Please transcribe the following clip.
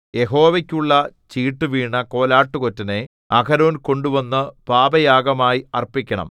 യഹോവയ്ക്കുള്ള ചീട്ടു വീണ കോലാട്ടുകൊറ്റനെ അഹരോൻ കൊണ്ടുവന്നു പാപയാഗമായി അർപ്പിക്കണം